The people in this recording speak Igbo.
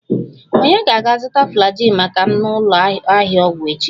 Ònye ga-aga zụta Flagyl maka m na ụlọ ahịa ọgwụ echi?